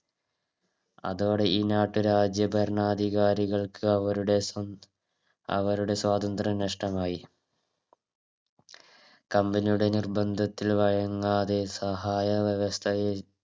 അതോടെ ഈ നാട്ടുരാജ്യ ഭരണാധികാരികൾക്ക് അവരുടെ സ്വ അവരുടെ സ്വാതന്ത്രം നഷ്ടമായി Company യുടെ നിർബന്ധത്തിൽ വഴങ്ങാതെ സഹായ വ്യവസ്ഥയിൽ